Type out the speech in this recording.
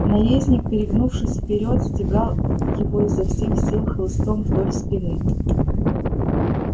наездник перегнувшись вперёд стегал его изо всех сил хлыстом вдоль спины